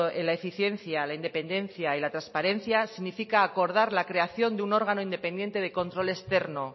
en la eficiencia la independencia y la transparencia significa acordar la creación de un órgano independiente de control externo